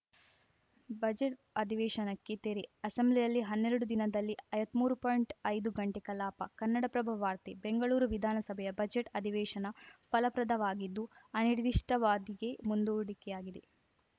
budget ಅಧಿವೇಶನಕ್ಕೆ ತೆರೆ ಅಸೆಂಬ್ಲಿಯಲ್ಲಿ ಹನ್ನೆರಡು ದಿನದಲ್ಲಿ ಐವತ್ಮೂರು ಪಾಯಿಂಟ್ಐದು ಗಂಟೆ ಕಲಾಪ ಕನ್ನಡಪ್ರಭ ವಾರ್ತೆ ಬೆಂಗಳೂರು ವಿಧಾನಸಭೆಯ ಬಜೆಟ್‌ ಅಧಿವೇಶನ ಫಲಪ್ರದವಾಗಿದ್ದು ಅನಿರ್ದಿಷ್ಟಾವಾಧಿಗೆ ಮುಂದೂಡಿಕೆಯಾಗಿದೆ